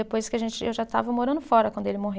Depois que a gente, eu já estava morando fora quando ele morreu.